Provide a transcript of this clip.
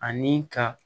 Ani ka